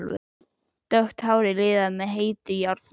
Dökkt hárið liðað með heitu járni.